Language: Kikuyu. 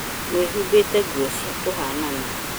Mwihũmbĩte nguo cia kũihanana